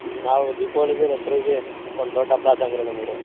ಹ್ಮ್ ನಾವು ದೀಪಾವಳಿಗೆ, ದಸರೆಗೆ ಒಂದ ದೊಡ್ಡ ಹಬ್ಬಾ ಇದ್ದಂಗ್ರಿ ನಮಗ್ರಿ.